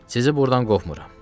Sizi burdan qopmuram.